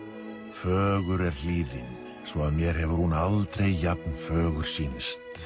fögur er hlíðin svo að mér hefur hún aldrei jafn fögur sýnst